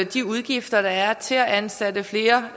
de udgifter der er til at ansætte flere